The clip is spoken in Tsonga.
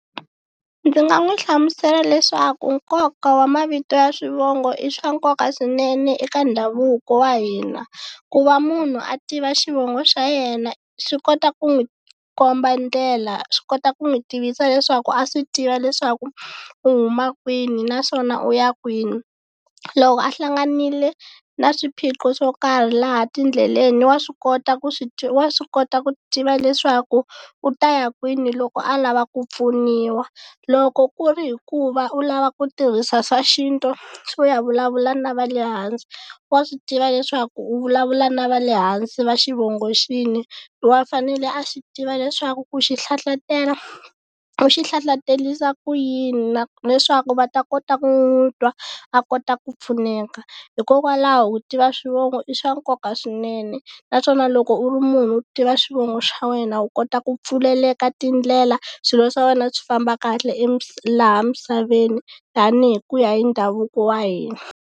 Ndzi nga n'wi hlamusela leswaku nkoka wa mavito ya swivongo i swa nkoka swinene eka ndhavuko wa hina, ku va munhu a tiva xivongo xa yena swi kota ku n'wi komba ndlela swi kota ku n'wi tivisa leswaku a swi tiva leswaku u huma kwini, naswona u ya kwini. Loko a hlanganile na swiphiqo swo karhi laha tindleleni wa swi kota ku wa swi kota ku tiva leswaku u ta ya kwini loko a lava ku pfuniwa. Loko ku ri hi ku va u lava ku tirhisa swa xintu swo ya vulavula na va le hansi wa swi tiva leswaku u vulavula na va le hansi va xivongo xihi wa fanele a swi tiva leswaku ku xi hlahlatela u xi hlahlaterisa ku yini, leswaku va ta kota ku nwi twa a ta kota ku pfuneka. Hikokwalaho ku tiva swivogo i swa nkoka swinene, naswona loko u ri munhu u tiva swivongo xa wena u kota ku pfuleleka tindlela swilo swa wena swi famba kahle laha misaveni tanihi ku ya hi ndhavuko wa hina.